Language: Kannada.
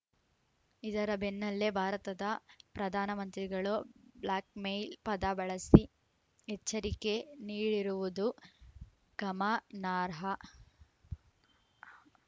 ಇದರ ಬೆನ್ನಲ್ಲೇ ಭಾರತದ ಪ್ರಧಾನಮಂತ್ರಿಗಳು ಬ್ಲ್ಯಾಕ್‌ಮೇಲ್‌ ಪದ ಬಳಸಿ ಎಚ್ಚರಿಕೆ ನೀಡಿರುವುದು ಗಮನಾರ್ಹ